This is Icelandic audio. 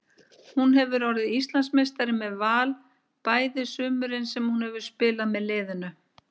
Hún hefur orðið Íslandsmeistari með Val bæði sumurin sem hún hefur spilað með liðinu.